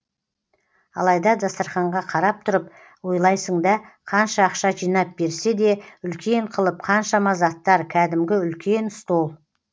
алайда дастарханға қарап тұрып ойлайсың да қанша ақша жинап берсе де үлкен қылып қаншама заттар кәдімгі үлкен стол